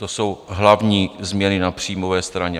To jsou hlavní změny na příjmové straně.